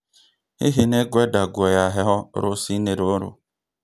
Hihi nĩ ngwenda nguo ya heho rũcinĩ rũrũ?